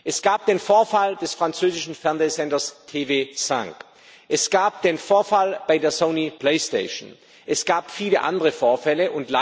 Es gab den Vorfall beim französischen Fernsehsender TV5, es gab den Vorfall bei der Sony Playstation, es gab viele andere Vorfälle.